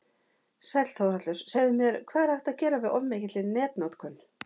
Sæll Þórhallur, segðu mér, hvað er hægt að gera við of mikilli netnotkun?